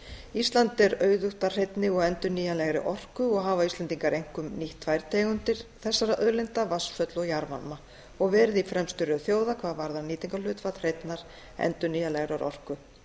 ísland er auðugt að hreinni og endurnýjanlegri orku og hafa íslendingar einkum nýtt tvær tegundir þessara auðlinda vatnsföll og jarðvarma og verið í fremstu röð þjóða hvað varðar nýtingarhlutfall hreinnar endurnýjanlegrar orku